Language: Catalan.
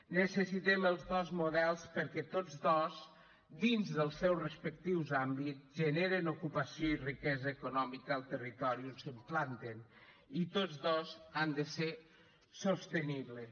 necessitem els dos models perquè tots dos dins dels seus respectius àmbits generen ocupació i riquesa econòmica al territori on s’implanten i tots dos han de ser sostenibles